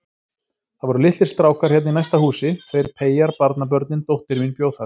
Það voru litlir strákar hérna í næsta húsi, tveir peyjar, barnabörnin, dóttir mín bjó þar.